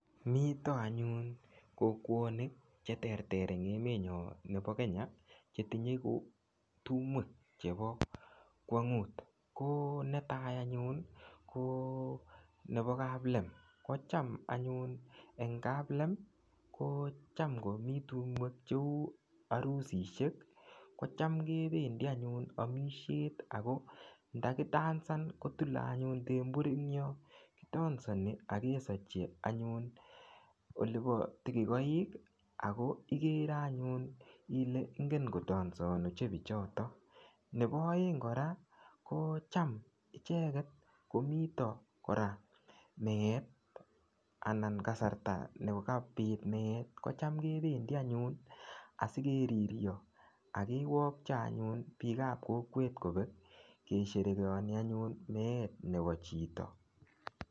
Mito anyun kokwonik cheterter eng emetnyo nebo Kenya cheti tumwek chebokwong'ut ,ko netai anyun ko nebo kaplem kocham anyun eng kaplem kocham ng'omi tumwek cheu arusishek kocham kebendi anyun amisiet Ako ndakidancan kotulei anyun tembur engyo, kidansani akesachi tikokoi akoigere anyun ile ingen kodanson anyun Pichoto nebo oeng kora kocham icheget komito kora meet anan kasarta nikabit meet kocham kebendi anyun asigeriryo akewokcho anyun piik ap kokowet kobek kesherekeani anyun meet nebo chito.